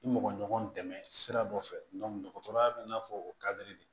Ni mɔgɔ ɲɔgɔn dɛmɛ sira dɔ fɛ dɔgɔtɔrɔya b'i n'a fɔ o kadiri de